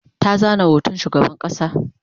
ta zana hoton shugaban ƙasa